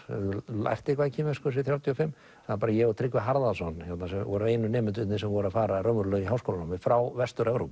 höfðu lært eitthvað í kínversku þessir þrjátíu og fimm það var bara ég og Tryggvi Harðarson sem vorum einu nemendurnir sem voru að fara raunverulega í háskólanámið frá Vestur Evrópu